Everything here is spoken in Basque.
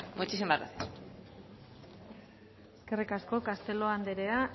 muchísimas gracias eskerrik asko castelo andrea